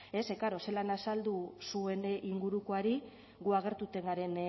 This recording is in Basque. ze klaro zelan azaldu zuen ingurukoari gu agertuten garen